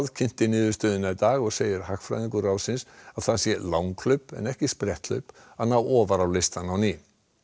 kynnti niðurstöðuna í dag og segir hagfræðingur ráðsins að það sé langhlaup en ekki spretthlaup að ná ofar á listann á ný